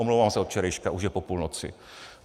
Omlouvám se, od včerejška, už je po půlnoci.